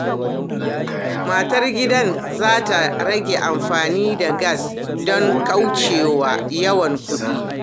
Matar gidan za ta rage amfani da gas don kauce wa yawan kuɗi.